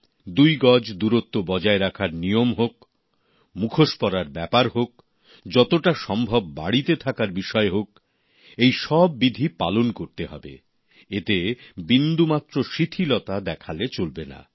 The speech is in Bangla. দুই গজ দূরত্ব বজায় রাখার নিয়ম হোক মাস্ক পরার ব্যাপার হোক যতটা সম্ভব বাড়িতে থাকার বিষয় হোক এই সব বিধি পালন করতে হবে এতে বিন্দুমাত্র শিথিলতা দেখালে চলবে না